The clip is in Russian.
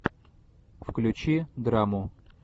включи драму